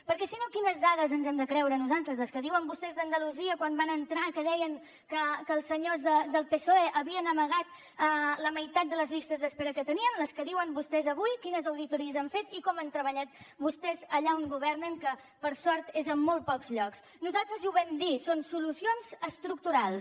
perquè si no quines dades ens hem de creure nosaltres les que diuen vostès d’andalusia quan van entrar que deien que els senyors del psoe havien amagat la meitat de les llistes d’espera que tenien les que diuen vostès avui quines auditories han fet i com han treballat vostès allà on governen que per sort és a molt pocs llocs nosaltres ja ho vam dir són solucions estructurals